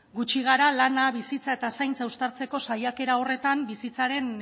gutxi gara lana bizitza eta zaintza uztartzeko saiakera horretan bizitzaren